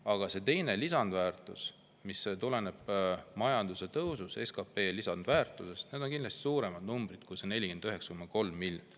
Aga teine lisandväärtus SKP‑le, mis tuleneb majanduse tõusust – see on kindlasti suurem number kui 49,3 miljonit.